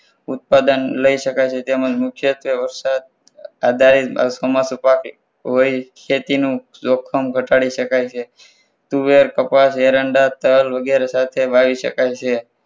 ઉત્પાદન લઈ શકાય છે તેમ જ મુખ્યત્વે વરસાદ આધારિત ચોમાસુ પાક વળી ખેતીનું જોખમ ઘટાડી શકાય છે. તુવેર કપાસ એરંડા તલ વગેરે સાથે વાવી શકાય છે.